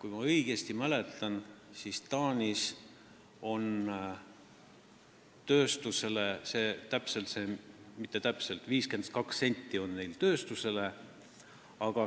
Kui ma õigesti mäletan, siis näiteks Taanis on tööstusel see määr 52 senti, aga kodutarbijal